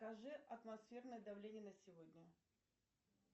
скажи атмосферное давление на сегодня